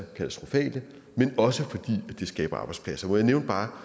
katastrofale men også fordi det skaber arbejdspladser må jeg nævne bare